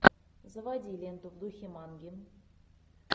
заводи ленту в духе манги